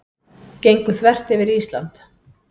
Gengu þvert yfir Ísland